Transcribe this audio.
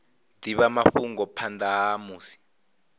divha mafhungo phanda ha musi